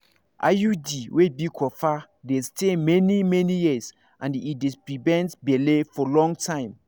iud wey be copper dey stay many-many years and e dey prevent belle for long time.